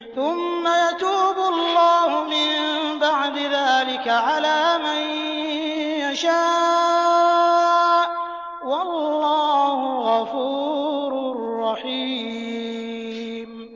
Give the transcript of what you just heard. ثُمَّ يَتُوبُ اللَّهُ مِن بَعْدِ ذَٰلِكَ عَلَىٰ مَن يَشَاءُ ۗ وَاللَّهُ غَفُورٌ رَّحِيمٌ